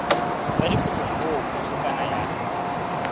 sa dikopo moo bukana ya